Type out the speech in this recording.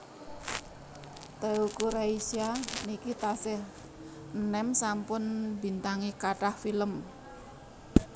Teuku Rasya niki tasih enem sampun mbintangi kathah film